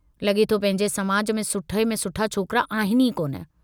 लगे थो पंहिंजे समाज में सुठे में सुठा छोकिरा आहिनि ई कोन।